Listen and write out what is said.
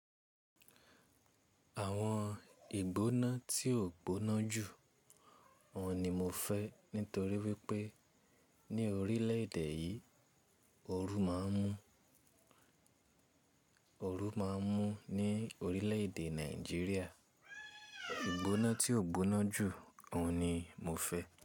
Àwọn ìgbóná tí ò gbóná jù, òun ni mo fẹ́ nítorí wípé ní orílẹ̀ èdè yìí, ooru máa ń mú. Ooru máa ń mú ní orílẹ̀ èdè Nàìjíríà, ìgbóná tí ò gbóná jù, òun ni mo fẹ́.